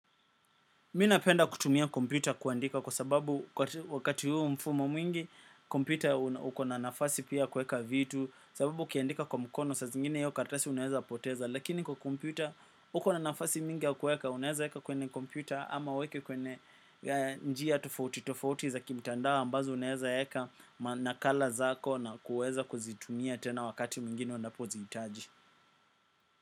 Mi napenda kutumia kompyuta kuandika kwa sababu wakati huu mfumo mwingi, kompyuta uko na nafasi pia kuweka vitu, sababu ukiandika kwa mkono saa zingine hiyo karatasi unaweza poteza, lakini kwa kompyuta uko na nafasi mingi ya kuweka, unaweza eka kwenye kompyuta ama uweke kwenye njia tofauti tofauti za kimtandao ambazo unawezaeka manakala zako na kuweza kuzitumia tena wakati mwingine unapozihitaji.